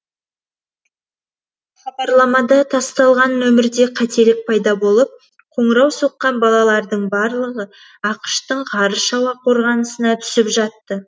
хабарламада тасталған нөмерде қателік пайда болып қоңырау соққан балалардың барлыға ақш тың ғарыш ауа қорғанысына түсіп жатты